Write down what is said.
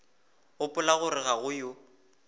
gopola gore ga go yo